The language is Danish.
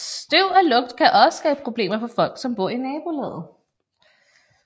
Støv og lugt kan også skabe problemer for folk som bor i nabolaget